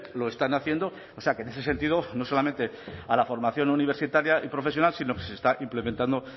lo están haciendo o sea que en ese sentido no solamente a la formación universitaria y profesional sino que se está implementando